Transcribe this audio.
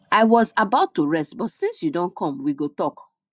i was about to rest but since you don come we go talk